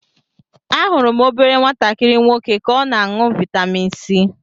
Ahụrụ m obere nwatakịrị nwoke ka o na aṅụ vitamin c.